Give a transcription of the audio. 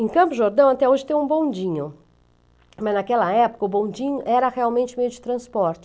Em Campo Jordão até hoje tem um bondinho, mas naquela época o bondinho era realmente meio de transporte.